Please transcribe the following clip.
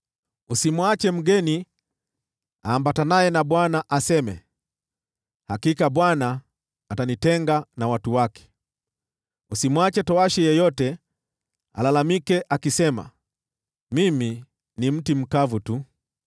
Usimwache mgeni aambatanaye na Bwana aseme, “Hakika Bwana atanitenga na watu wake.” Usimwache towashi yeyote alalamike akisema, “Mimi ni mti mkavu tu.”